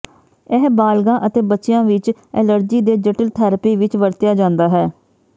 ਇਹ ਬਾਲਗਾਂ ਅਤੇ ਬੱਚਿਆਂ ਵਿੱਚ ਐਲਰਜੀ ਦੇ ਜਟਿਲ ਥੈਰੇਪੀ ਵਿੱਚ ਵਰਤਿਆ ਜਾਂਦਾ ਹੈ